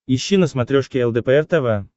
ищи на смотрешке лдпр тв